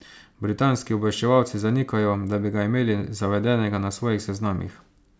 Britanski obveščevalci zanikajo, da bi ga imeli zavedenega na svojih seznamih.